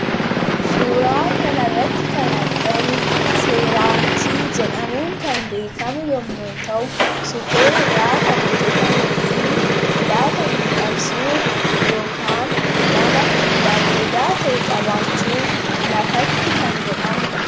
suuraa kanarratti kan argamu seeraamikii jedhamuun kan beekamu yommu ta'u suphee irraa kan hojjetame fi laafamiidhaqsuuf yokan mana bareedaa ta'e qabaachuuf lafatti kan godhamuudha